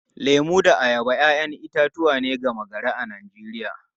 Lemu da ayaba ‘ya’yan itatuwa ne gama-gari a Najeriya.